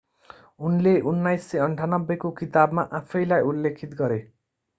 उनले 1998 को किताबमा आफैंलाई उल्लेखित गरे